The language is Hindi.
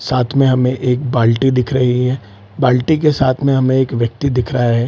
साथ में हमें एक बाल्टी दिख रही है बाल्टी के साथ में हमे एक व्यक्ति दिख रहा है।